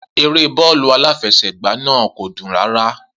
Eré bọ́ọ̀lù aláfẹsẹ̀gbá náà kò dùn rárá.